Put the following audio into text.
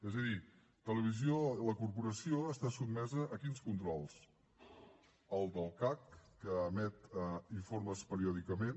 és a dir la corporació està sotmesa a quins controls al del cac que emet informes periòdicament